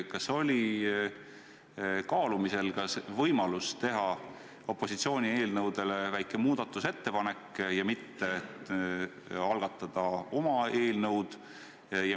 Kas oli kaalumisel ka võimalus teha opositsiooni eelnõude kohta väike muudatusettepanek ja mitte algatada oma eelnõu?